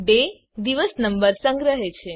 day દિવસ number સંગ્રહે છે